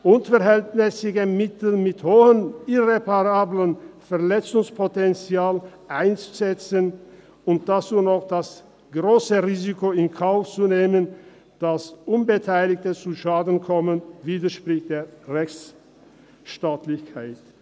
Unverhältnismässige Mittel mit hohem irreparablem Verletzungspotenzial einzusetzen und dazu noch das grosse Risiko in Kauf zu nehmen, dass Unbeteiligte zu Schaden kommen, widerspricht der Rechtsstaatlichkeit.